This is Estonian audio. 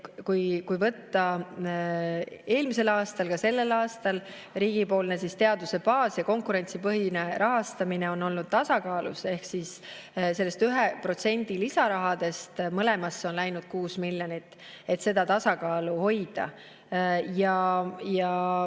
Kui vaadata eelmist aastat, aga ka seda aastat, siis riigipoolne teaduse baas‑ ja konkurentsipõhine rahastamine on olnud tasakaalus ehk sellest 1% lisarahadest on mõlemale läinud 6 miljonit, et seda tasakaalu hoida.